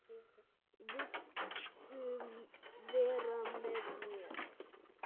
Viltu vera með mér?